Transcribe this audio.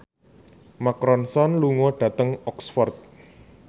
Mark Ronson lunga dhateng Oxford